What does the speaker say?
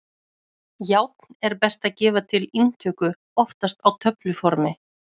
Járn er best að gefa til inntöku, oftast á töfluformi.